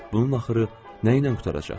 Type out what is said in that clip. Bunun axırı nə ilə qurtaracaq?